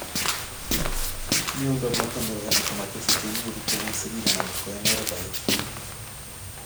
Mnyondo noton nebo Hemachromatosis ke nyoru kobun sigik anan ko en oret age